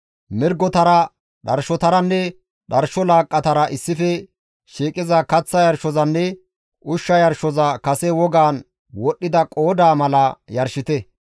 Mirgotara, dharshotaranne dharsho laaqqatara issife shiiqiza kaththa yarshozanne ushsha yarshoza kase wogaan wodhdhida qoodaa mala yarshite.